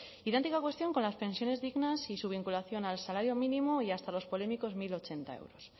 idéntica cuestión con las pensiones dignas y su vinculación al salario mínimo y hasta los polémicos mil ochenta euros